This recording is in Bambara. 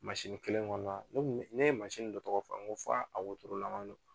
Mansini kelen kɔnɔna, ne kun bɛ, ne ye mansini dɔ tɔgɔ fɔ n ko f'a a wotoro laman don